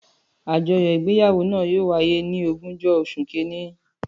Àjọyọ igbeyawo na yóò wáyé ni ogunjọ osùn kínní.